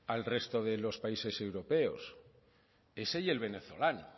al resto de los países europeos ese y el venezolano